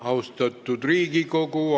Austatud Riigikogu!